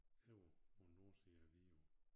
Over på æ nordside af Vidå